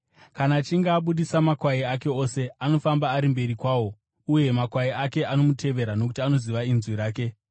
Kana achinge abudisa makwai ake ose, anofamba ari mberi kwawo, uye makwai ake anomutevera nokuti anoziva inzwi rake.